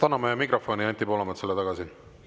Anname mikrofoni Anti Poolametsale tagasi!